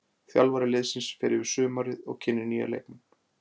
Þjálfari liðsins fer yfir sumarið og kynnir nýja leikmenn.